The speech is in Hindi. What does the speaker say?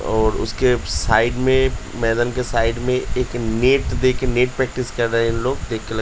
और उसके साइड में मैदान के साइड में एक नेट देखें नेट प्रैक्टिस कर रहे हैं लोग।